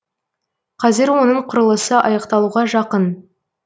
қазір оның құрылысы аяқталуға жақын